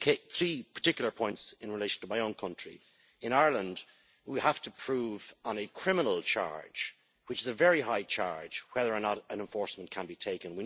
Three particular points in relation to my own country in Ireland, we have to prove on a criminal charge, which is a very high charge, whether or not an enforcement can be taken.